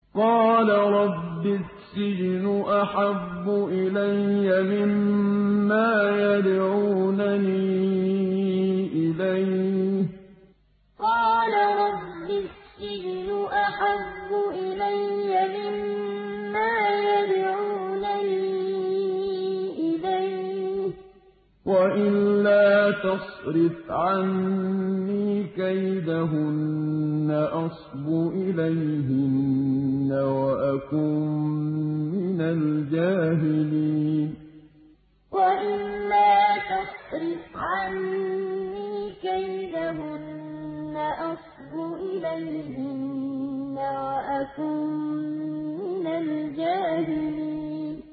قَالَ رَبِّ السِّجْنُ أَحَبُّ إِلَيَّ مِمَّا يَدْعُونَنِي إِلَيْهِ ۖ وَإِلَّا تَصْرِفْ عَنِّي كَيْدَهُنَّ أَصْبُ إِلَيْهِنَّ وَأَكُن مِّنَ الْجَاهِلِينَ قَالَ رَبِّ السِّجْنُ أَحَبُّ إِلَيَّ مِمَّا يَدْعُونَنِي إِلَيْهِ ۖ وَإِلَّا تَصْرِفْ عَنِّي كَيْدَهُنَّ أَصْبُ إِلَيْهِنَّ وَأَكُن مِّنَ الْجَاهِلِينَ